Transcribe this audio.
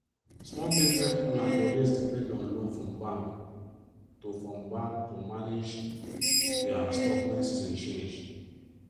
small business owners dey always depend on loan from bank to from bank to manage dia stock when season change.